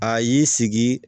A y'i sigi